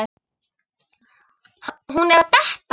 Hún er að detta.